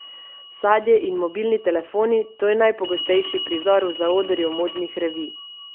Sadje in mobilni telefoni, to je najpogostejši prizor v zaodrju modnih revij.